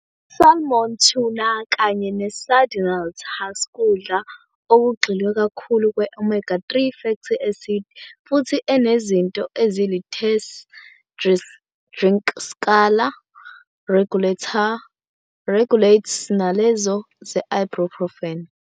I-Salmon, tuna, kanye ne-sardineIt haskudla okugxilwe kakhulu kwe-Omega 3 fatty acids, futhi enezinto ezilThese drinkskala regulatesnalezo ze-ibuprofen.